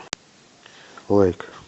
лайк